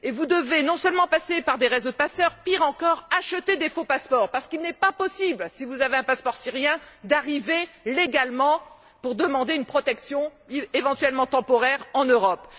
devez, non seulement, passer par des réseaux de passeurs mais, pire encore, acheter des faux passeports, parce qu'il est impossible, si vous avez un passeport syrien, d'arriver légalement, pour demander une protection, éventuellement temporaire, en Europe.